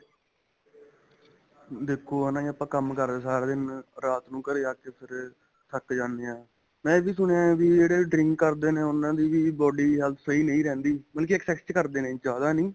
ਦੇਖੋ ਹਨਾ ਆਪਾਂ ਕੰਮ ਕਰਦੇ ਹਾਂ ਸਾਰਾ ਦਿਨ ਰਾਤ ਨੂੰ ਘਰੇ ਆਕੇ ਫ਼ਿਰ ਥੱਕ ਜਾਂਦੇ ਹਾਂ ਮੈਂ ਇਹ ਵੀ ਸੁਣਿਆ ਹੈ ਵੀ ਜਿਹੜੇ drink ਕਰਦੇ ਨੇ ਉਹਨਾ ਦੀ body health ਸਹੀਂ ਨਹੀਂ ਰਹਿੰਦੀ ਮਤਲਬ ਕੀ excess ਕਰਦੇ ਨੇ ਜਿਆਦਾ ਨਹੀਂ